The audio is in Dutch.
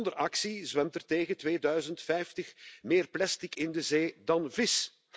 Zonder actie zwemt er tegen 2050 meer plastic in de zee dan vis.